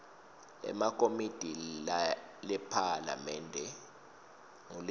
ekomitini lephalamende ngulenye